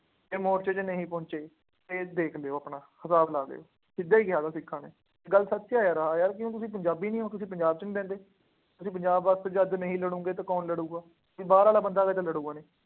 ਜੇ ਮੋਰਚੇ ਚ ਨਹੀਂ ਪਹੁੰਚੇ, ਫੇਰ ਦੇਖ ਲਉ ਆਪਣਾ, ਹਿਸਾਬ ਲਾ ਲਿਉ, ਸਿੱਧਾ ਹੀ ਕਹਿ ਦਿੱਤਾ ਸਿੱਖਾਂ ਨੇ, ਗੱਲ ਸੱਚ ਹੈ ਯਾਰ, ਹਾਂ ਕਿਉਂ ਤੁਸੀਂ ਪੰਜਾਬੀ ਨਹੀਂ ਹੋ, ਤੁਸੀਂ ਪੰਜਾਬ ਚ ਨਹੀਂ ਰਹਿੰਦੇ, ਤੁਸੀਂ ਪੰਜਾਬ ਵਾਸਤੇ ਜਦ ਨਹੀਂ ਲੜੋਗੇ ਤਾਂ ਕੌਣ ਲੜੂਗਾ। ਬਾਹਰ ਵਾਲਾ ਬੰਦਾ ਆ ਕੇ ਤਾਂ ਲੜੂਗਾ ਨਹੀਂ।